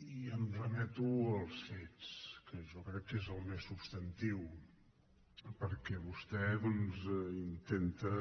i em remeto als fets que jo crec que és el més substantiu perquè vostè doncs intenta